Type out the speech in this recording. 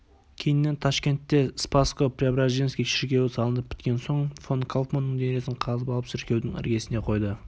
кейіннен ташкентте спасско-преображенский шіркеуі салынып біткен соң фон кауфманның денесін қазып алып шіркеудің іргесіне қойды